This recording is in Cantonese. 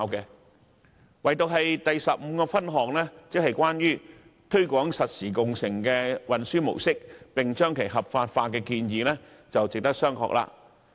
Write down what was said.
可是，唯獨其修正案第十五項，有關推廣實時共乘運輸模式，並將其合法化的建議，我認為值得商榷。